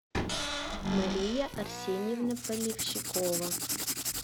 мария арсеньевна поливщикова